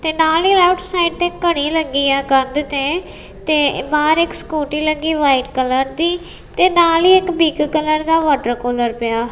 ਤੇ ਨਾਲ ਹੀ ਲੈਫਟ ਸਾਈਡ ਤੇ ਘੜੀ ਲੱਗੀ ਆ ਕੰਧ ਤੇ ਤੇ ਬਾਹਰ ਇੱਕ ਸਕੂਟੀ ਲੱਗੀ ਵਾਈਟ ਕਲਰ ਦੀ ਤੇ ਨਾਲ ਹੀ ਇੱਕ ਪਿੱਕ ਕਲਰ ਦਾ ਵਾਟਰ ਕੂਲਰ ਪਿਆ ਐ।